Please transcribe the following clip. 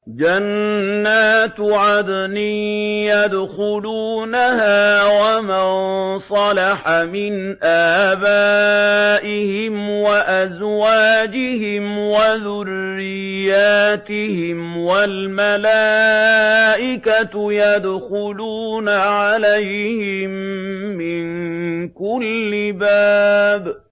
جَنَّاتُ عَدْنٍ يَدْخُلُونَهَا وَمَن صَلَحَ مِنْ آبَائِهِمْ وَأَزْوَاجِهِمْ وَذُرِّيَّاتِهِمْ ۖ وَالْمَلَائِكَةُ يَدْخُلُونَ عَلَيْهِم مِّن كُلِّ بَابٍ